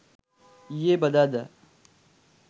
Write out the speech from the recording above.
ඊයේ බදාදා